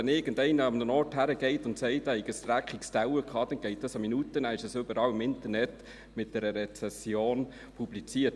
Wenn irgendjemand an einen Ort geht und sagt, er habe einen dreckigen Teller gehabt, geht es eine Minute und dies ist überall im Internet mit einer Rezension publiziert.